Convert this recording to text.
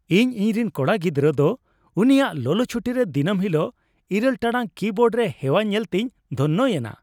ᱤᱧ ᱤᱧᱨᱮᱱ ᱠᱚᱲᱟ ᱜᱤᱫᱲᱨᱟᱹ ᱫᱚ ᱩᱱᱤᱭᱟᱜ ᱞᱚᱞᱚ ᱪᱷᱩᱴᱤᱨᱮ ᱫᱤᱱᱟᱹᱢ ᱦᱤᱞᱟᱹᱜ ᱘ ᱴᱟᱲᱟᱝ ᱠᱤᱵᱳᱨᱰ ᱨᱮ ᱦᱮᱣᱟ ᱧᱮᱞᱛᱮᱧ ᱫᱷᱚᱱᱱᱚ ᱭᱮᱱᱟ ᱾